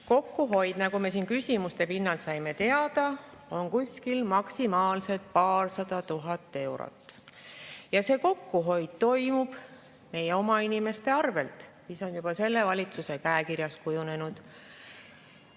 Kokkuhoid, nagu me siin küsimuste pinnalt teada saime, on maksimaalselt paarsada tuhat eurot ja see kokkuhoid toimub meie oma inimeste arvelt, mis on juba selle valitsuse käekirjaks kujunenud.